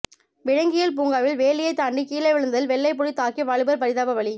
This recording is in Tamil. விலங்கியல் பூங்காவில் வேலியை தாண்டி கீழே விழுந்ததில் வெள்ளைப்புலி தாக்கி வாலிபர் பரிதாப பலி